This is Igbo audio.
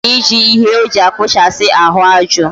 Okara ije ihe oji akpuchasi ahu aju